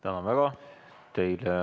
Tänan väga!